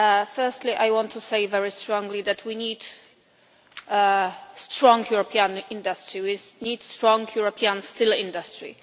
Firstly, I want to say very strongly that we need strong European industry. We need a strong European steel industry.